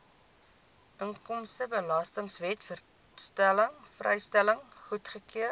inkomstebelastingwet vrystelling goedgekeur